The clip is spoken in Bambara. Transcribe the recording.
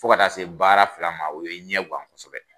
Fo ka taa se baara fila ma o ye n ɲɛ gan kosɛbɛ!